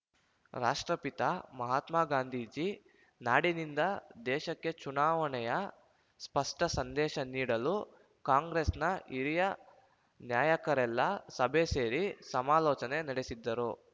ರಾಷ್ಟ್ರಪಿತ ಮಹಾತ್ಮ ಗಾಂಧೀಜಿ ನಾಡಿನಿಂದ ದೇಶಕ್ಕೆ ಚುನಾವಣೆಯ ಸ್ಪಷ್ಟ ಸಂದೇಶ ನೀಡಲು ಕಾಂಗ್ರೆಸ್‌ನ ಹಿರಿಯ ನಾಯಕರೆಲ್ಲಾ ಸಭೆ ಸೇರಿ ಸಮಾಲೋಚನೆ ನಡೆಸಿದ್ದರು